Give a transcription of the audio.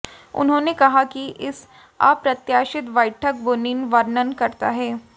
उन्होंने कहा कि इस अप्रत्याशित बैठक बुनिन वर्णन करता है